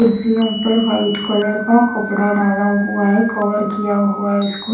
कुर्सियों पर white colour का कपड़ा डाला हुआ है कवर किया इसको--